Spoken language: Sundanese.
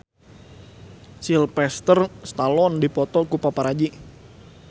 Sylvester Stallone dipoto ku paparazi